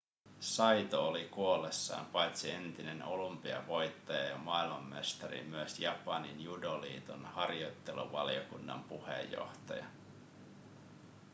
saito oli kuollessaan paitsi entinen olympiavoittaja ja maailmanmestari myös japanin judoliiton harjoitteluvaliokunnan puheenjohtaja